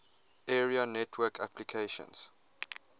area network applications